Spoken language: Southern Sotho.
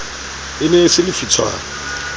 e ne e se lefitshwana